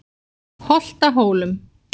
Holtahólum